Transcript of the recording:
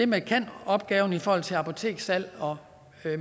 med kan opgaven i forhold til apoteksudsalg og